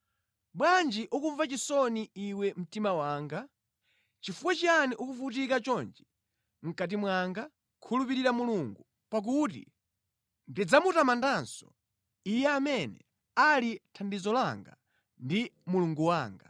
Bwanji ukumva chisoni, iwe mtima wanga? Chifukwa chiyani ukuvutika chonchi mʼkati mwanga? Khulupirira Mulungu, pakuti ndidzamutamandanso, Iye amene ali thandizo langa ndi Mulungu wanga.